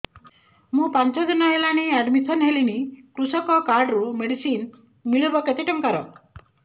ମୁ ପାଞ୍ଚ ଦିନ ହେଲାଣି ଆଡ୍ମିଶନ ହେଲିଣି କୃଷକ କାର୍ଡ ରୁ ମେଡିସିନ ମିଳିବ କେତେ ଟଙ୍କାର